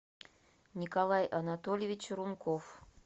николай анатольевич рунков